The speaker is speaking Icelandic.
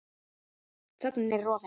Þögnin er rofin.